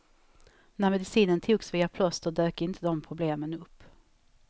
När medicinen togs via plåster dök inte de problemen upp.